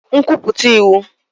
Command Statements